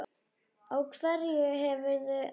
Á hverju hefurðu efni?